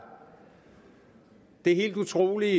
det helt utrolige